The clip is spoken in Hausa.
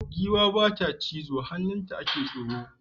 Giwa bata cizo hannun nan ake tsoro